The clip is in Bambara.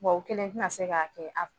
u kelen tina se k'a kɛ